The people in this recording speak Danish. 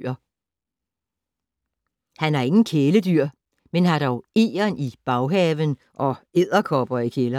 Han har ingen kæledyr, men har dog egern i baghaven og edderkopper i kælderen